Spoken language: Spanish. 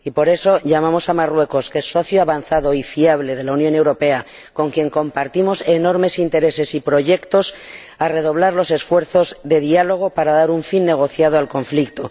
Por eso, llamamos a Marruecos, que es socio avanzado y fiable de la Unión Europea, con quien compartimos enormes intereses y proyectos, a que redoble los esfuerzos de diálogo para dar un fin negociado al conflicto.